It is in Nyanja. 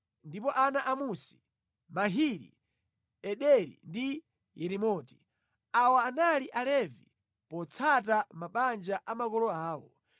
Ndipo ana a Musi: Mahili, Ederi ndi Yerimoti. Awa anali Alevi potsata mabanja a makolo awo.